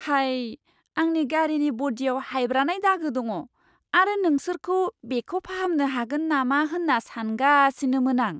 हाय! आंनि गारिनि ब'डिआव हायब्रानाय दागो दङ, आरो नोंसोरखौ बेखौ फाहामनो हागोन नामा होन्ना सानगासिनोमोन आं!